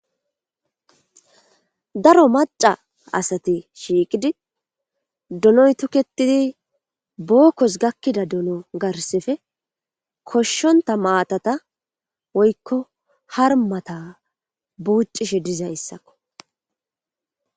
daro maca asati shiiqidi dunoy tuketidi bookkos gakkida duno garsefe koshshonta maatata woykko harmata buuccishe dizayssakko